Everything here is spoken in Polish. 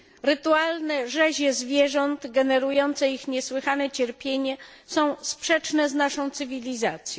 Rytualne rzezie zwierząt, generujące ich niesłychane cierpienie, są sprzeczne z naszą cywilizacją.